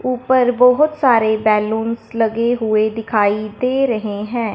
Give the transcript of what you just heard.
ऊपर बहोत सारे बैलूंस लगे हुए दिखाई दे रहे है।